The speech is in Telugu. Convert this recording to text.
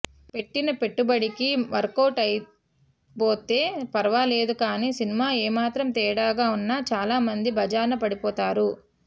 పెట్టిన పెట్టుబడికి వర్కవుట్ అయిపోతే ఫర్వాలేదు కానీ సినిమా ఏమాత్రం తేడాగా ఉన్నా చాలా మంది బజార్న పడిపోతారు